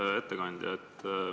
Hea ettekandja!